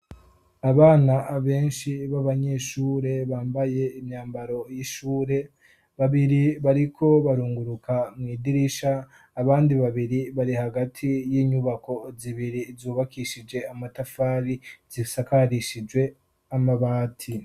abana benshi b'abanyeshure bambaye imyambaro y'ishure babiri bariko barunguruka mu idirisha abandi babiri bari hagati y'inyubako zibiri zubakishije amatafari zisakarishijwe amabati